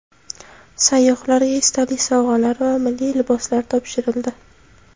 Sayyohlarga esdalik sovg‘alari va milliy liboslar topshirildi.